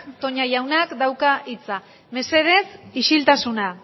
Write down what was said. toña jaunak dauka hitza mesedez isiltasuna